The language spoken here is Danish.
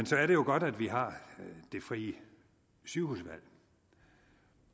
så er det jo godt at vi har det frie sygehusvalg